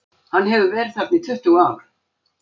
Hann hefur verið þarna í tuttugu ár.